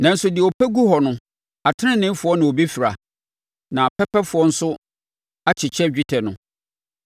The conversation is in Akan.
nanso deɛ ɔpɛ gu hɔ no, ateneneefoɔ na wɔbɛfira na pɛpɛfoɔ no nso akyekyɛ dwetɛ no.